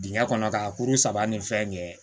Dingɛ kɔnɔ ka kuru saba ni fɛn kɛ